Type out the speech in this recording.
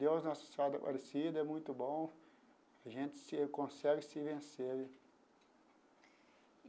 Deus Nossa Senhora Aparecida é muito bom, a gente se consegue se vencer.